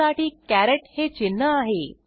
त्यासाठी कॅरेट हे चिन्ह आहे